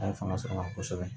A ye fanga sɔrɔ a la kosɛbɛ